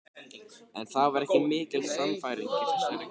En það var ekki mikil sannfæring í þessari gremju.